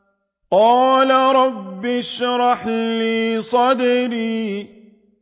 قَالَ رَبِّ اشْرَحْ لِي صَدْرِي